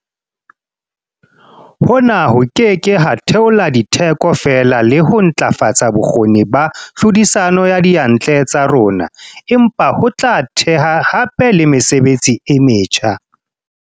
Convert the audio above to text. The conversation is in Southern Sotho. Hona ho ke ke ha theola ditheko fela le ho ntlafatsa bokgoni ba tlhodisano ya diyantle tsa rona, empa ho tla theha hape le mesebetsi e metjha.